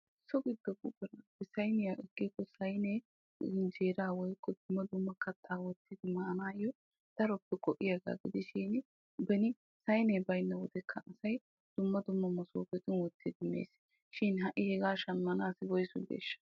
So giddo buquratuppe sayniyaa ekkiko sayinee budenaa woykko dumma dumma kattata maanayoo daroppe go"iyaagaa gidishin beni wode sayinee baynna wodekka asay dumma dumma masopetun wottidi mes. shin ha'i hegaa shammanawu woysu bireeshsha?